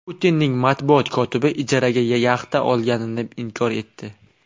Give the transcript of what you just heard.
Putinning matbuot kotibi ijaraga yaxta olganini inkor etdi.